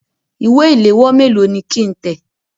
Ìwé ìléwọ́ méèló ni kí ń tẹ̀?